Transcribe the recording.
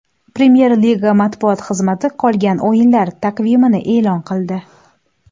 Premyer Liga matbuot xizmati qolgan o‘yinlar taqvimini e’lon qildi .